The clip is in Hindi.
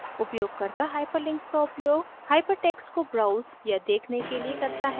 उपयोगकर्ता hyperlinks का उपयोग hypertext को browse या देखने के लिए करता है